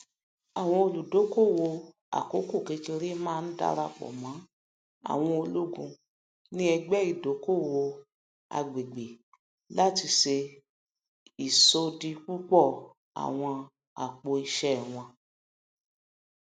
àwọn olùdókòowó àkókòkékèré máa ń darapọ mọ àwọn ológun ní ẹgbẹ ìdókòowó àgbègbè láti ṣe ìṣòdípòpọ àwọn apòìṣé wọn